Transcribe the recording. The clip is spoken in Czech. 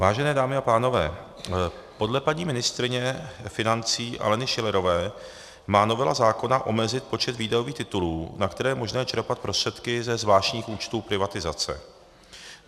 Vážené dámy a pánové, podle paní ministryně financí Aleny Schillerové má novela zákona omezit počet výdajových titulů, na které je možné čerpat prostředky ze zvláštních účtů privatizace.